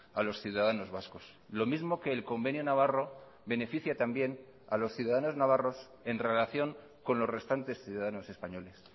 a los ciudadanos vascos lo mismo que el convenio navarro beneficia también a los ciudadanos navarros en relación con los restantes ciudadanos españoles